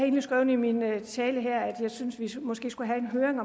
synes vi måske skulle have en høring